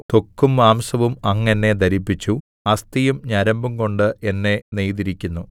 ത്വക്കും മാംസവും അങ്ങ് എന്നെ ധരിപ്പിച്ചു അസ്ഥിയും ഞരമ്പുംകൊണ്ട് എന്നെ നെയ്തിരിക്കുന്നു